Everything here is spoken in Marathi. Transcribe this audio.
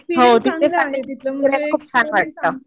हो तिथे खूप छान वाटतं.